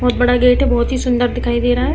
बोहोत बड़ा गेट है। बोहोत ही सुन्दर दिखाई दे रहा है।